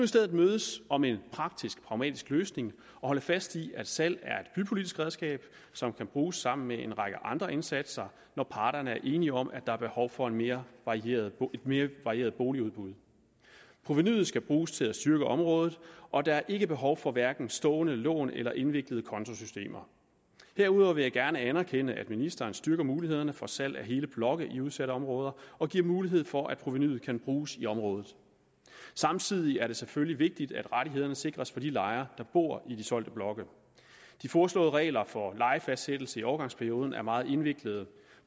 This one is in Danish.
stedet mødes om en praktisk og pragmatisk løsning og holde fast i at salg er bypolitisk redskab som kan bruges sammen med en række andre indsatser når parterne er enige om at der er behov for et mere varieret mere varieret boligudbud provenuet skal bruges til at styrke området og der er ikke behov for hverken stående lån eller indviklede kontosystemer herudover vil jeg gerne anerkende at ministeren styrker mulighederne for salg af hele blokke i udsatte områder og giver mulighed for at provenuet kan bruges i området samtidig er det selvfølgelig vigtigt at rettighederne sikres for de lejere der bor i de solgte blokke de foreslåede regler for lejefastsættelsen i overgangsperioden er meget indviklede